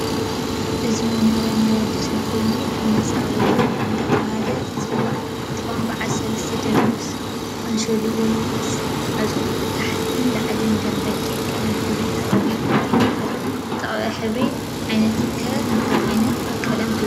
እዚ መኖርያ ናይ ወድሰብ ኮይኑህፅፃ ወይ ፎቅ እደተበሃለዝፅዋዕ እንትከውን በዓል ሰለስተ ደብሪ ምስ ካንሸልኡ ወይ ምስ መዕፅኡ ታሕትን ለዕል ደም በግዕ ቀለም ሕብሪ ተቀብእ እቲ ማእከላይ ዝተቀበ ሕብሪ ዓይነት ከ እንታይ ዓይነት ቀለም ትብሉ?